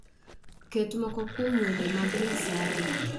Ket moko kuom wende mag Nyasaye